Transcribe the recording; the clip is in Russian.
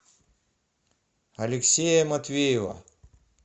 алексея матвеева